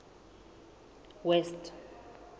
west